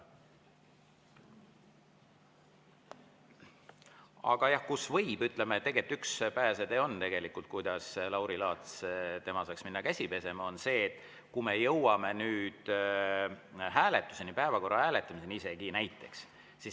Tegelikult, ütleme, üks pääsetee, kuidas Lauri Laats saaks minna käsi pesema, on see, kui me jõuame nüüd hääletuseni, päevakorra hääletamiseni näiteks.